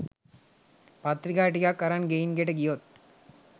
පත්‍රිකා ටිකක් අරන් ගෙයින් ගෙට ගියොත්